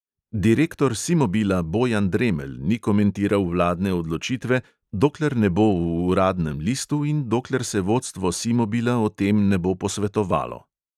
Direktor simobila bojan dremelj ni komentiral vladne odločitve, dokler ne bo v uradnem listu in dokler se vodstvo simobila o tem ne bo posvetovalo.